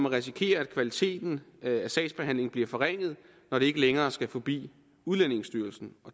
risikerer at kvaliteten af sagsbehandlingen bliver forringet når det ikke længere skal forbi udlændingestyrelsen